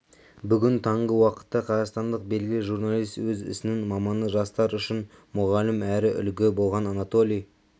бүгін таңғы уақытта қазақстандық белгілі журналист өз ісінің маманы жастар үшін мұғалім әрі үлгі болған анатолий